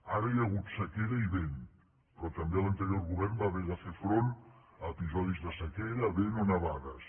ara hi ha hagut sequera i vent però també l’anterior govern va haver de fer front a episodis de sequera vent o nevades